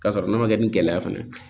K'a sɔrɔ n'a ma kɛ ni gɛlɛya fana ye